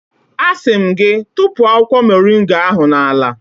Asị m gị, tụpụ akwụkwọ moringa ahụ n'ala